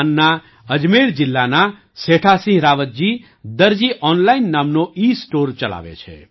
રાજસ્થાનના અજમેર જિલ્લાના સેઠાસિંહ રાવતજી દરજી ઑનલાઇન નામનો ઇસ્ટૉર ચલાવે છે